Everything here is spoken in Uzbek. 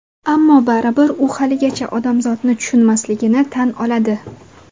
Ammo baribir u haligacha odamzotni tushunmasligini tan oladi.